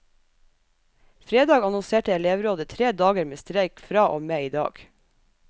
Fredag annonserte elevrådet tre dager med streik fra og med i dag.